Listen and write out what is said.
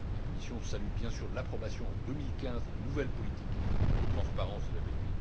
La Commission salue bien sûr l'approbation en 2015 de la nouvelle politique de transparence de la BEI.